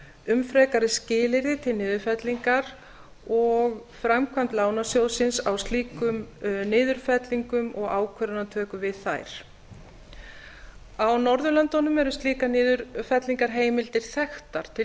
um frekari skilyrði til niðurfellingar og framkvæmd lánasjóðsins á slíkum niðurfellingum og ákvarðanatöku við þær á norðurlöndum eru slíkar niðurfellingarheimildir þekktar til